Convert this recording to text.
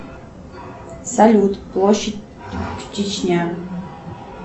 салют площадь чечня